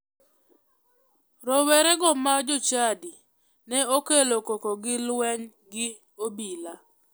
Rowerego ma jochadi ne okelo koko gi luweny gi obila.